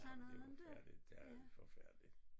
Ah men det var forfærdeligt det er forfærdeligt